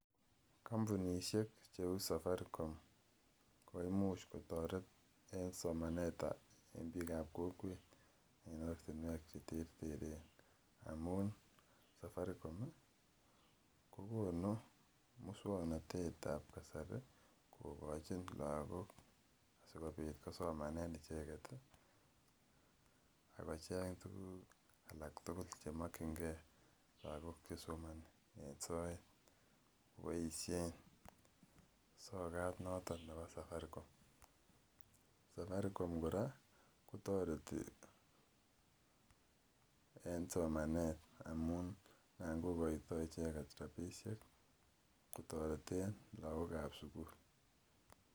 Kampunisiek cheuu safaricom koimuch kotaret en somanetab kokwet, en ortinuek cheterteren. Amuun safari com kokonu musuaknotetab kasari kogochin lakok asikobit kosomesomanen icheket akicheng tuguk alak tugul chemokienge lakok chesomani en soet . Koboisien sokat noton nebo safaricom. Safaricom kora kotareti en somanet amuun anan kokoita icheket rabisiek ih kotareten lakokab sugul